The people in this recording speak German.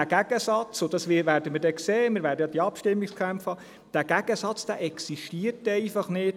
Dieser Gegensatz – dies werden wir sehen, wir werden die Abstimmungskämpfe haben – existiert einfach nicht.